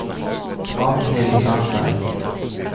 Magnhild Sandberg